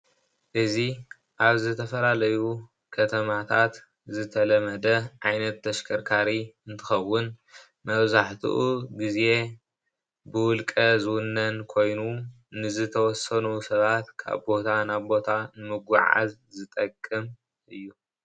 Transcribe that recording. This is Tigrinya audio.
እዚ ኣብ ዝተፈላለዩ ከተማታት ዝተለመደ ዓይነት ተሽከርካሪ እንትከውን መብዝሓቱኡ ግዜ ብውልቀ ዝውነን ኮይኑ ንዝተወሰኑ ሰባት ካብ ቦታ ናብ ቦታ ንመጉዕዓዝ ዝጠቅም እዩ።